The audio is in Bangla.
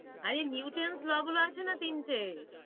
আরে Newton's law গুলো আছে না তিনটে?